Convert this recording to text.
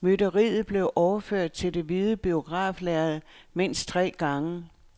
Mytteriet blev overført til det hvide biograflærrede mindst tre gange.